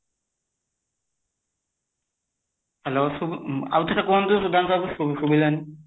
hello ଶୁଗୁ ଉମ ଆଉଥରେ କୁହନ୍ତୁ ସୁଦାନ୍ତ ବାବୁ ସୁଗୀ ସୁଗିଲାନି